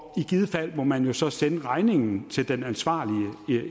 i givet fald må man så sende regningen til den ansvarlige